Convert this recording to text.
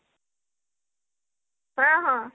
ହଁ ହଁ